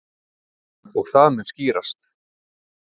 Og það mun skýrast.